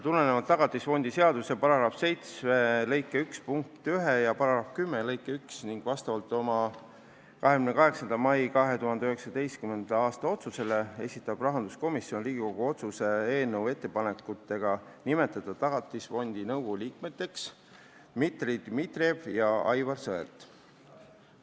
Tulenevalt Tagatisfondi seaduse § 7 lõike 1 punktist 1 ja § 10 lõikest 1 ning oma 28. mai 2019. aasta otsusest esitab rahanduskomisjon Riigikogu otsuse eelnõu ettepanekuga nimetada Tagatisfondi nõukogu liikmeteks Dmitri Dmitrijev ja Aivar Sõerd.